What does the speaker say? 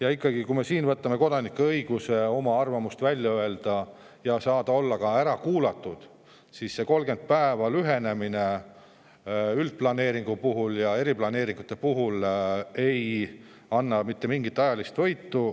Aga ikkagi, kui me võtame kodanike õiguse oma arvamus välja öelda ja saada olla ära kuulatud, siis see 30 päeva võrra lühenemine üldplaneeringu puhul ja eriplaneeringute puhul ei anna mitte mingit ajalist võitu.